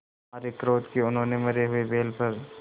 मारे क्रोध के उन्होंने मरे हुए बैल पर